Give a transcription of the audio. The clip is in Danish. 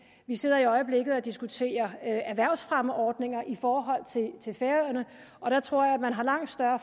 vi sidder i øjeblikket og diskuterer erhvervsfremmeordninger i forhold til færøerne og der tror jeg man har langt større